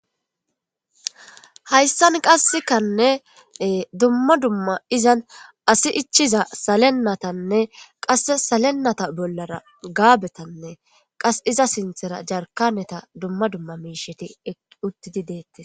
hayssan qassekanne dumma dumma izan asi ichiza salennatanne qasse salenata bollara gaabetanne qas iza sinthera jarkaneta dumma dumma miisheti ekiuttidi deettes